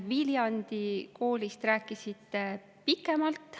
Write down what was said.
Viljandi koolist te rääkisite pikemalt.